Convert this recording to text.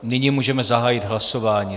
Nyní můžeme zahájit hlasování.